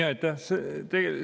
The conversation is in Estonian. Aitäh!